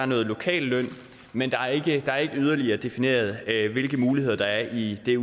noget lokalløn men det er ikke yderligere defineret hvilke muligheder der er i det